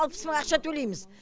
алпыс мың ақша төлейміз